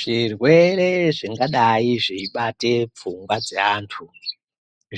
Zvirwere zvingadai zveibate pfungwa dzeantu